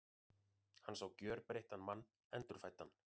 Hann sá gjörbreyttan mann, endurfæddan.